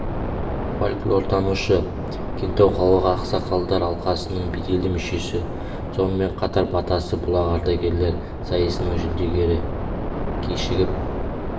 фольклортанушы кентау қалалық ақсақалдар алқасының беделді мүшесі сонымен қатар батасы бұлақ ардагерлер сайысының жүлдегері кешігіп